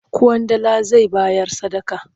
Ƙwandala zai bayar sadaka.